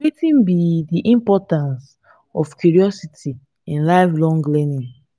wetin be di importance of curiosity in lifelong learning?